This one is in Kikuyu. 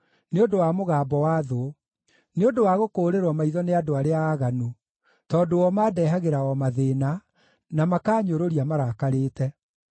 nĩ ũndũ wa mũgambo wa thũ, nĩ ũndũ wa gũkũũrĩrwo maitho nĩ andũ arĩa aaganu; tondũ o mandehagĩra o mathĩĩna, na makaanyũrũria marakarĩte.